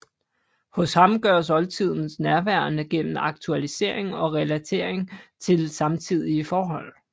Hos ham gøres oldtiden nærværende gennem aktualisering og relatering til samtidige forhold